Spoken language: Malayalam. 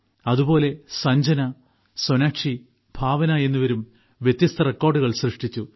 അതുപോലെ സഞ്ജന സൊനാക്ഷി ഭാവന എന്നിവരും വ്യത്യസ്ത റെക്കോർഡുകൾ സൃഷ്ടിച്ചു